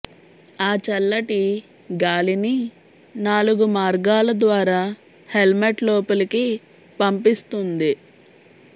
ఆ చల్లటి గాలిని నాలుగు మార్గాల ద్వారా హెల్మెట్ లోపలికి పంపిస్తుంది